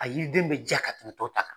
A yiriden bɛ jaa ka tɛmɛ tow ta kan.